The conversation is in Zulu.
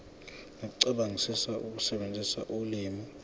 nokucabangisisa ukusebenzisa ulimi